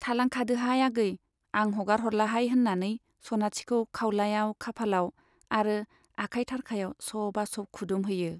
थालांखादोहाय आगै, आं हगारह'रलाहाय होन्नानै सनाथिखौ खाउलायाव खाफालाव आरो आखाय थारखायाव सबा सब खुदुमहैयो।